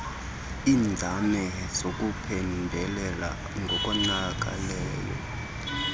iinzame zokuphembelela ngokonakeleyo